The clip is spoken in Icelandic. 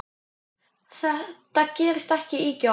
Þetta gerist ekki ýkja oft.